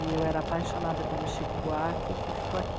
E eu era apaixonada pelo Chico Buarque, que ficou aqui.